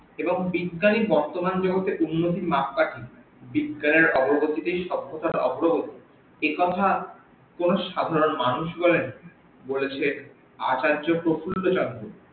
এবং বিজ্ঞানই বর্তমান জগতে উন্নতির মাপ কাঠি বিজ্ঞানের অগ্রগতিতেই সভ্যতার অগ্রগতি একথা কোন সাধারন মানুষ বলেনি বলেছেন আচার্য প্রফুল্ল চন্দ্র